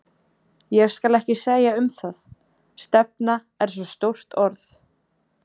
Ég skal ekki segja um það, stefna er svo stórt orð.